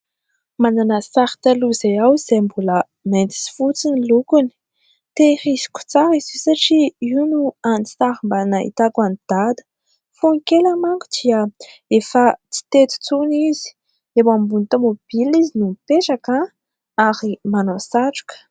Manana sary taloha izay aho izay mbola mainty sy fotsy ny lokony. Tehiriziko tsara izy io satria io no hany sary mba nahitako an'i Dada, fony kely manko izaho efa tsy teto intsony izy, eo ambony tomobilina izy no mipetraka ary manao satroka.